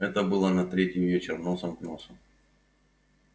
это было на третий вечер носом к носу